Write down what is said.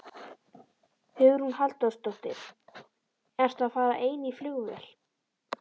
Hugrún Halldórsdóttir: Ertu að fara ein í flugvél?